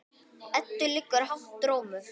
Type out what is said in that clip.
Eddu liggur hátt rómur.